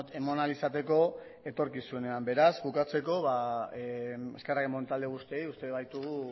eman ahal izateko etorkizunean beraz bukatzeko eskerrak eman talde guztiei uste baitugu